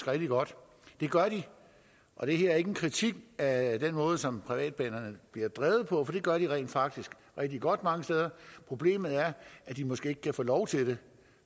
rigtig godt det gør de og det her er ikke en kritik af den måde som privatbanerne bliver drevet på for det gør de rent faktisk rigtig godt mange steder problemet er at de måske ikke kan få lov til det